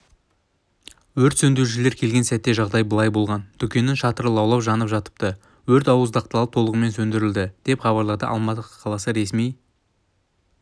өрт сөндірушілер келген сәтте жағдай былай болған дүкеннің шатыры лаулап жанып жатыпты өрт ауыздықталып толығымен сөндірілді деп хабарлады алматы қаласы ресми